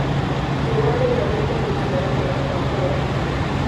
Riũa nĩrĩo gĩtũmi kĩa gũkũra kwa ngothi.